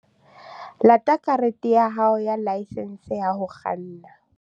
Lata karete ya hao ya laesense ya ho kganna